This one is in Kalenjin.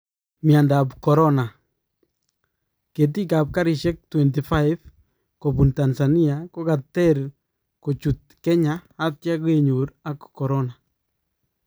Myandap corona :Ketiikab karisyeek 25 kobuun Tanzania kokateer kochuut Kenya atya kenyoor ak corona